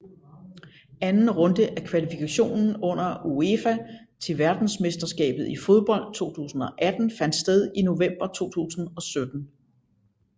Anden runde af kvalifikationen under UEFA til verdensmesterskabet i fodbold 2018 fandt sted i november 2017